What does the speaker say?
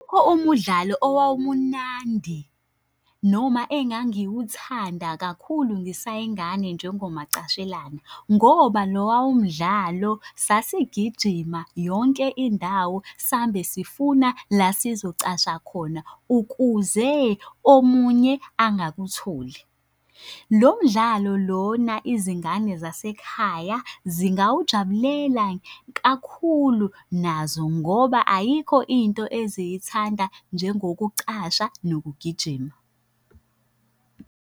Awukho umudlalo owawumunandi noma engangiwuthanda kakhulu ngisayingane njengomacashelana, ngoba lowa umdlalo sasigijima yonke indawo sambe sifuna la sizocasha khona ukuze omunye angakutholi. Lo mdlalo lona izingane zasekhaya zingawujabulela kakhulu nazo ngoba ayikho into eziyithanda njengokucasha nokugijima.